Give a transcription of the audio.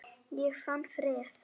Ég fann frið.